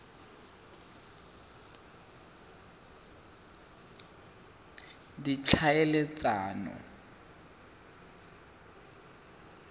ditlhaeletsano